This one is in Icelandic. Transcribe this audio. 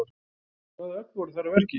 En hvaða öfl voru þar að verki?